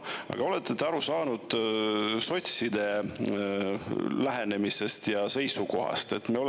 Aga kas te olete aru saanud sotside lähenemisest ja seisukohast?